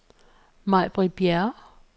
Maj-Britt Bjerre